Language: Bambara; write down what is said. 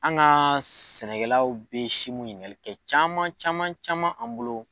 An ka sɛnɛkɛlaw bɛ simu ɲininkali kɛ caman caman caman an bolo.